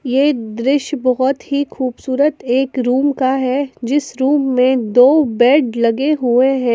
ये दृश्य बहुत ही खुबसूरत रूम का है जिसमे दो बेड लगे हुए हैं।